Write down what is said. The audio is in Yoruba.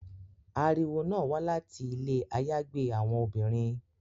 Ariwo náa wa lati ile ayagbe awọn obinrin